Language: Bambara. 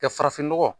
Ka farafin nɔgɔ